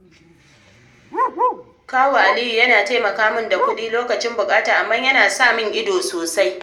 Kawu Aliyu yana taimaka min da kuɗi lokacin bukata, amma yana son sa min ido sosai.